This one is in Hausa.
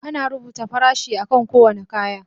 Ana rubuta farashin akan kowane kaya.